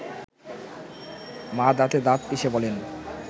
মা দাঁতে দাঁত পিষে বলেন